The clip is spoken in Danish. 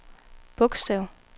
bogstav